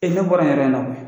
E ne bɔrain yɔrɔ in na koyi